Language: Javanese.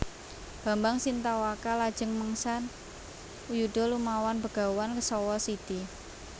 Bambang Sintawaka lajeng mengsah yuda lumawan Begawan Kesawasidhi